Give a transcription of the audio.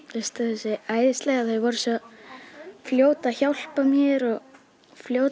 sig æðislega þau voru svo fljót að hjálpa mér og fljót